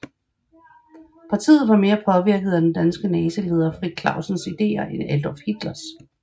Partiet var mere påvirket af den danske nazileder Frits Clausens ideer end Adolf Hitlers